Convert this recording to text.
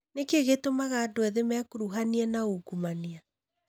Nĩkĩ gĩtũmaga andũ ethĩ mekuruhanie na ungumania